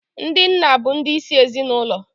Ndị nna bụ ndị isi ezinaụlọ.